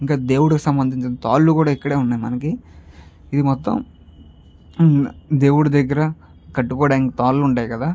దేవుడు సంబంధం తాళ్లు కూడా ఇక్కడే ఉన్నాయి మనకి ఇది మొత్తం దేవుడి దగ్గర కట్టుకోవడానికి తాళ్లు ఉంటాయి కదా --